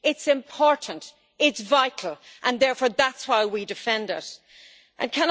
it's important, it's vital, and therefore that's why we defend it.